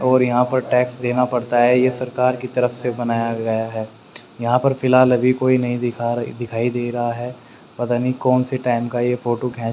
और यहां पर टैक्स देना पड़ता है यह सरकार की तरफ से बनाया गया है यहां पर फिलहाल अभी कोई नहीं दिखा दिखाई दे रहा है पता नहीं कौन से टाइम का यह फोटो --